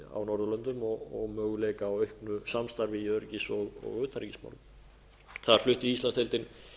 á norðurlöndum og möguleika á auknu samstarfi í öryggis og utanríkismálum þar flutti íslandsdeildin